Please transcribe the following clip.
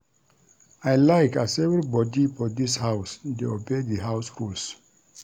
I like as everybodi for dis house dey obey di house rules.